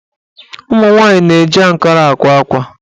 Ụmụnwaanyị na-eji ankara àkwá ákwà